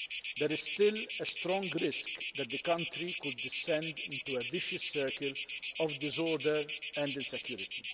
There is still a strong risk that the country could descend into a vicious circle of disorder and insecurity.